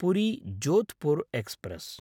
पुरी–जोधपुर् express